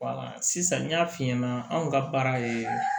sisan n y'a f'i ɲɛna anw ka baara ye